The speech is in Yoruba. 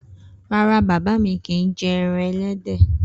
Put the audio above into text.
Rara, baba mi kii jẹ ẹran ẹlẹdẹ.